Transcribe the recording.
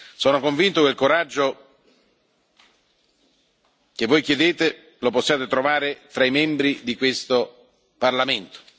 Sono convinto che il coraggio che voi chiedete lo possiate trovare tra i membri di questo Parlamento.